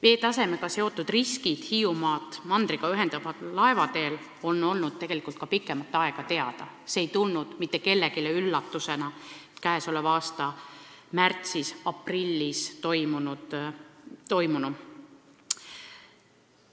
Veetasemega seotud risk Hiiumaad mandriga ühendaval laevateel on olnud tegelikult teada juba pikemat aega ja käesoleva aasta märtsis-aprillis toimunu ei tulnud mitte kellelegi üllatusena.